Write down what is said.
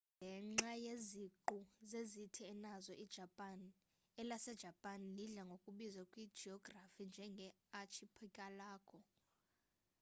ngenxa yeziqhu zeziqithi enazo ijapan elasejapani lidla ngokubizwa kwijiyografi njenge archipelago